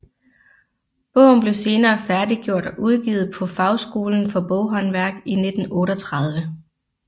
Bogen blev senere færdiggjort og udgivet på Fagskolen for Boghåndværk i 1938